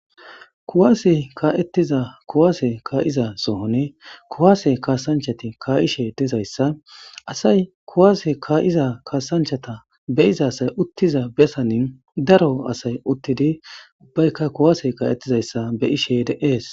kuwaase kaetiza kuwaase kaa7iza sohone kuwaase kasanchati kaa7ishe dizayssa asay kuwaase kaa7iza kasanchata beiza asay uttiza besanin daro asay uttidi bbaykka kuwaase ka7ettizayssa be ishe de7ees